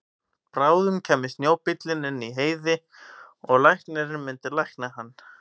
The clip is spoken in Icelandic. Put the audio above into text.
Bráðum kæmi snjóbíllinn inn í Heiði og læknirinn myndi lækna hann.